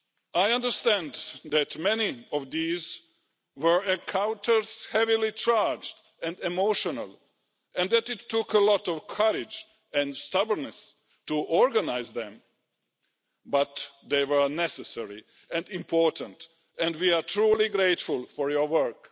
I understand that many of these encounters were heavily charged and emotional, and that it took a lot of courage and stubbornness to organise them, but they were necessary and important and we are truly grateful for your work.